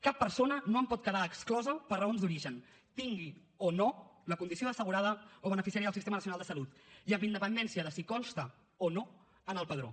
cap persona no en pot quedar exclosa per raons d’origen tingui o no la condició d’assegurada o beneficiària del sistema nacional de salut i amb independència de si consta o no en el padró